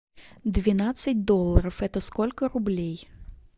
двенадцать долларов это сколько рублей